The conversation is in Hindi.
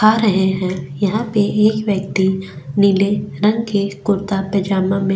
खा रहे है यहा पे एक व्यक्ति नीले रंग के कुर्ता पैजामा में --